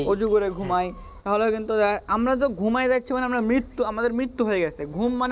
অজু করে ঘুমাই তাহলে কিন্তু আমাদের তো ঘুমাই রাখছে মানে মৃত্যু আমাদের মৃত্যু গেছে ঘুম মানে